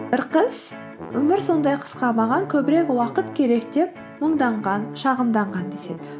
бір қыз өмір сондай қысқа маған көбірек уақыт керек деп мұңданған шағымданған деседі